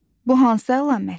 Bu hansı əlamətdir?